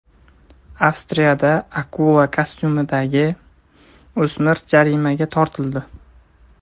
Avstriyada akula kostyumidagi o‘smir jarimaga tortildi.